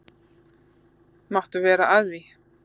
Máttu vera að því?